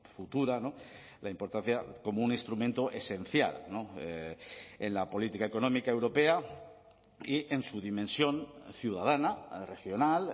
futura la importancia como un instrumento esencial en la política económica europea y en su dimensión ciudadana regional